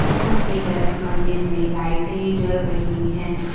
ऊपर कि तरफ़ मंदिर में लाइटें जल रही हैं।